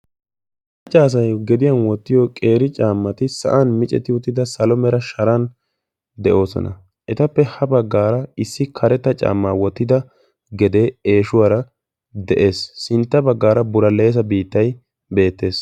Cora asay gediyan wottiyo qeeri caamati sa'an miccetri uttida salo mera sharan deosona. Etappe ha baggaara issi karetta caama wottida gedee eeshuwaara de'ees. Sintta baggaara buraleso biittay beettees.